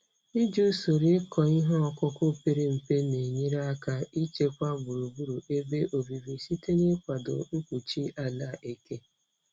Iji usoro ịkọ ihe ọkụkụ pere mpe na-enyere aka ichekwa gburugburu ebe obibi site n'ịkwado mkpuchi ala eke.